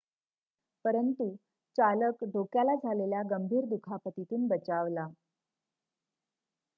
परंतु चालक डोक्याला झालेल्या गंभीर दुखापतीतून बचावला